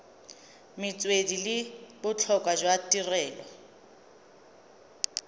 metswedi le botlhokwa jwa tirelo